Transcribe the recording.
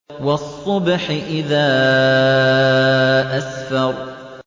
وَالصُّبْحِ إِذَا أَسْفَرَ